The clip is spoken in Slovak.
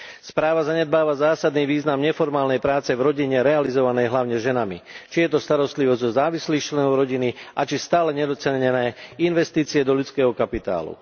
Správa zanedbáva zásadný význam neformálnej práce v rodine realizovanej hlavne ženami, či je to starostlivosť o závislých členov rodiny a či stále nedocenené investície do ľudského kapitálu.